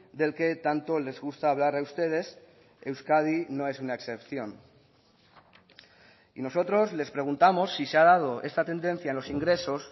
del que tanto les gusta hablar a ustedes euskadi no es una excepción y nosotros les preguntamos si se ha dado esta tendencia en los ingresos